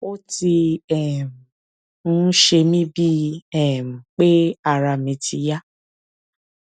ó ti um ń ṣe mí bíi um pé ara mi ti yá